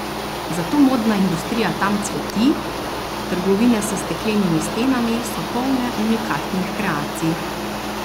Zato modna industrija tam cveti, trgovine s steklenimi stenami so polne unikatnih kreacij.